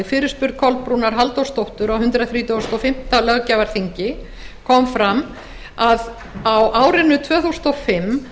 fyrirspurn kolbrúnar halldórsdóttur á hundrað þrítugasta og fimmta löggjafarþingi kom fram að á árinu tvö þúsund